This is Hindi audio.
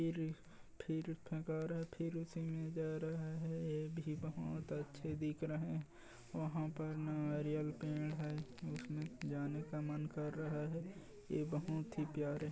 ए मे जा रहा है ये भी बहोत अच्छे दिख रहे वहाँ पर नारियल पेड़ है उसमें जाने का मन कर रहा है वे बहुत ही प्यारे --